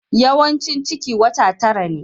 Yawaicin ciki wata tara ne.